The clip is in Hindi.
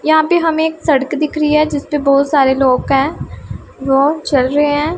यहां पे हमे एक सड़क दिख रही है जिसपे बहोत सारे लोग हैं वो चल रहे हैं।